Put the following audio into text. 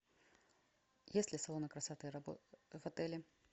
есть ли салоны красоты в отеле